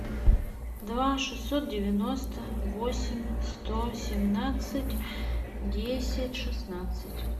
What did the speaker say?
два шестьсот девяносто восемь сто семнадцать десять шестнадцать